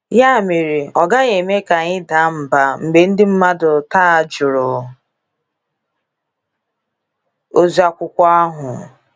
Ya mere, ọ gaghị eme ka anyị daa mbà mgbe ndị mmadụ taa jụrụ ozi akwụkwọ ahụ.